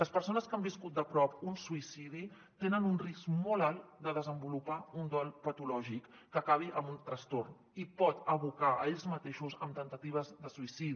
les persones que han viscut de prop un suïcidi tenen un risc molt alt de desenvolupar un dol patològic que acabi en un trastorn i els pot abocar a ells mateixos a temptatives de suïcidi